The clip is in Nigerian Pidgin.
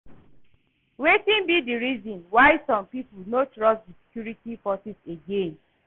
Wetin be di reason why some people no trust di security forces again?